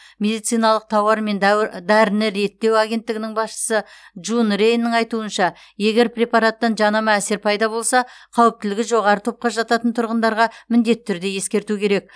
медициналық тауар мен дәуі дәріні реттеу агенттігінің басшысы джун рейннің айтуынша егер препараттан жанама әсер пайда болса қауіптілігі жоғары топқа жататын тұрғындарға міндетті түрде ескерту керек